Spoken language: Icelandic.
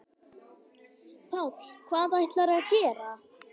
Páll: Hvað ætlarðu að gera?